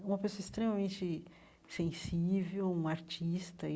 É uma pessoa extremamente sensível, um artista e.